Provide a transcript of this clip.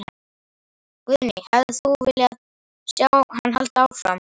Guðný: Hefðir þú vilja sjá hann halda áfram?